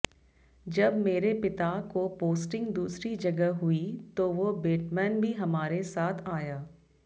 जब मेरे पिता को पोस्टिंग दूसरी जगह हुई तो वो बेटमैन भी हमारे साथ आया